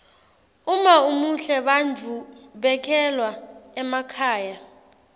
uma umuhle bantfu bekhelwa emakhaya